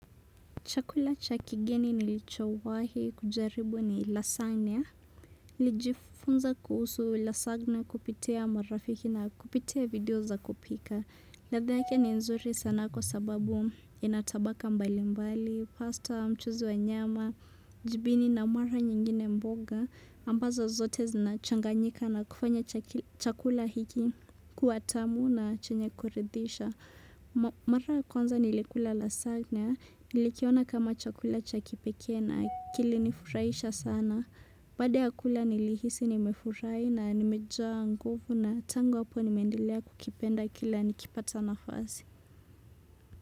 Chakula cha kigeni nilichowahi kujaribu ni lasagna. Nilijifunza kuhusu lasagna kupitia marafiki na kupitia video za kupika. Radha yake ni nzuri sana kwa sababu ina tabaka mbali mbali, pasta mchuzi wa nyama, jibini na mara nyingine mboga. Ambazo zote zinachanganyika na kufanya chakula hiki kuwa tamu na chenye kuridisha. Mara ya kwanza nilikula lasagna, nilikiona kama chakula cha kipeke na kilinifuhisha sana Baada ya kula nilihisi nimefurahi na nimejaa nguvu na tangu hapo nimendelea kukipenda kila nikipata nafasi.